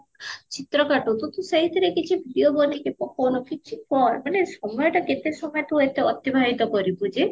ଚିତ୍ର କାଟୁ ଆଟ ତୁ ସେଇଥିରେ କିଛି video ବନେଇକି ପକଉନୁ କିଛି କର ମାନେ ସମୟଟା କେତେ ସମୟ ତୁ ଏତେ ଅତିବାହିତ କରିବୁ ଯେ